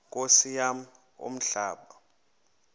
nkosi yam umhlaba